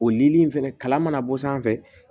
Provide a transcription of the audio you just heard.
O nili in fɛnɛ kalan mana bɔ sanfɛ